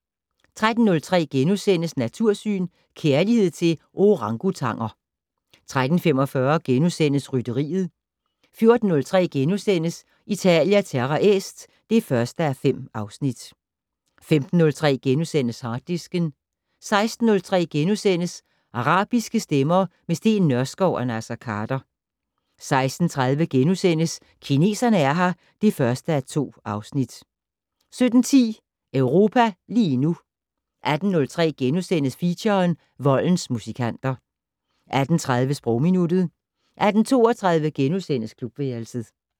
13:03: Natursyn: Kærlighed til Orangutanger * 13:45: Rytteriet * 14:03: Italia Terra Est (1:5)* 15:03: Harddisken * 16:03: Arabiske stemmer - med Steen Nørskov og Naser Khader * 16:30: Kineserne er her (1:2)* 17:10: Europa lige nu 18:03: Feature: Voldens musikanter * 18:30: Sprogminuttet 18:32: Klubværelset *